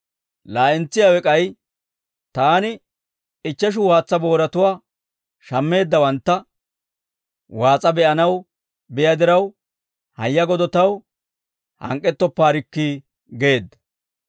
«Laa'entsiyaawe k'ay, ‹Taani ichcheshu waatsa booratuwaa shammeeddawantta waas'a be'anaw biyaa diraw, hayya godo taw hank'k'ettoppaarikki› geedda.